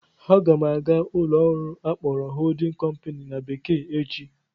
Aga m aga ụlọ ọrụ akpọrọ "holding company" na bekee echi